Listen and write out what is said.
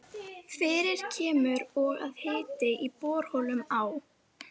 Verðskuldar Remi einu sinni svar?